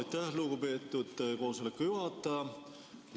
Aitäh, lugupeetud koosoleku juhataja!